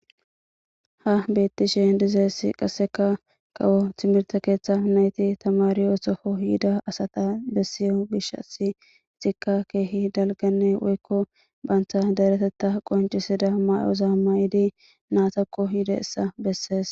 ha bettishe dizeessi qasseka kawo timirta keeththa nayti tamari osoko yida asata bessiyo bishasi ixikka keehi dalganne woykko bantha daretetta qoncisida may7oza mayidi naatakko hida essa bessees